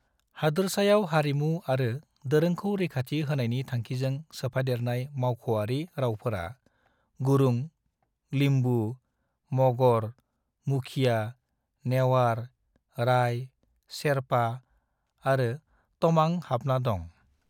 हादोरसायाव हारिमु आरो दोरोंखौ रैखाथि होनायनि थांखिजों सोफादेरनाय मावख'आरि रावफोराव गुरुंग, लिम्बु, मगर, मुखिया, नेवार, राय, शेरपा आरो तमांग हाबना दं।